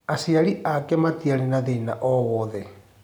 Aciari ake matiarĩ na thĩna owothe.